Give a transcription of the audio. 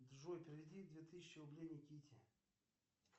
джой переведи две тысячи рублей никите